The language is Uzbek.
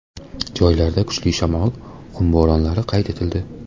Joylarda kuchli shamol, qum bo‘ronlari qayd etildi.